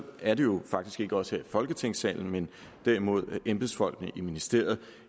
er det jo faktisk ikke os her i folketingssalen men derimod embedsfolkene i ministeriet